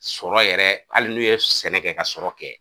Sɔrɔ yɛrɛ hali n'u ye sɛnɛ kɛ ka sɔrɔ kɛ